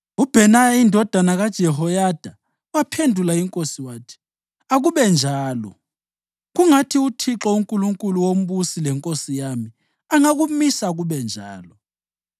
UBhenaya indodana kaJehoyada waphendula inkosi wathi, “Akube njalo! Kungathi uThixo, uNkulunkulu wombusi lenkosi yami, angakumisa kube njalo.